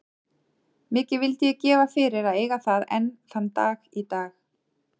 Mikið vildi ég gefa fyrir að eiga það enn þann dag í dag.